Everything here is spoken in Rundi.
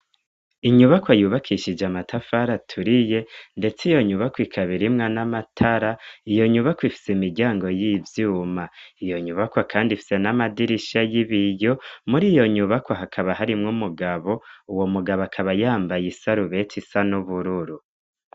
Inyubakwa yubakishije amatafari aturiye, ndetse iyo nyubakwa ikaba irimwo n'amatara, iyo nyubakwa ifitse imiryango y'ivyuma, iyo nyubakwa kandi ifitse n'amadirisha y'ibiyo. Muri iyo nyubakwa hakaba harimwo umugabo, uwo mugabo akaba yambaye isarubeti isa n'ubururu.